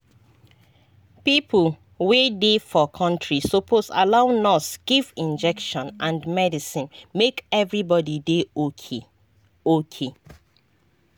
people wey dey for country suppose allow nurse give injection and medicine make everybody dey okay. okay.